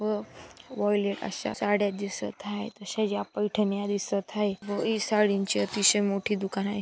व व्हाईलेट अश्या साडया दिसत आहेत अश्या व ही साड्यांची अतिशय मोठी दुकान आहे.